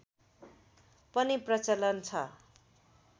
पनि प्रचलन छ